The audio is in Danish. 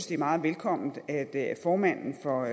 det er meget velkomment at formanden for